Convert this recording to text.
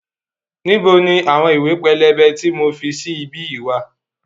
Níbo ni àwọn ìwé pélébé tí mo fi sí bí yìí wá?